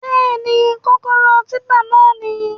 Bẹ́ẹ̀ni, kọ́kọ́rọ́ típpà náà níyì